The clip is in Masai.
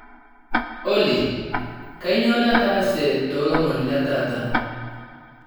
olly kainyio nataase toolomon letaata